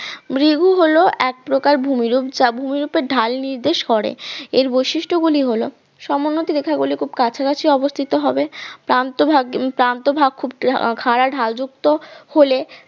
ভ্রিগু হল এক প্রকার ভূমিরূপ যা ভূমিরূপের ঢাল নির্দেশ করে এর বৈশিষ্ট্য গুলি হল সমোন্নতি রেখাগুলো খুব কাছাকাছি অবস্থিত হবে প্রান্ত ভাগ প্রান্ত ভাগ খুব খাড়া ঢাল যুক্ত হলে